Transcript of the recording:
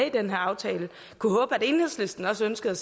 i den aftale jeg kunne håbe at enhedslisten også ønskede